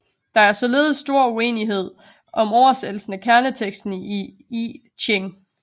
Der er således stor uenighed om oversættelsen af kerneteksten i I Ching